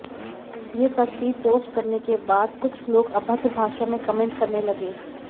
ये तस्वीर पोस्ट करने के बाद कुछ लोग अभद्र भाषा में कमेंट करने लगे